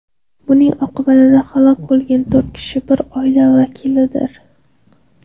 Buning oqibatida halok bo‘lgan to‘rt kishi bir oila vakillaridir.